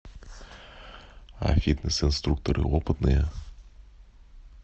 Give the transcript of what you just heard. фитнес инструкторы опытные